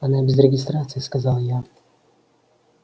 она без регистрации сказал я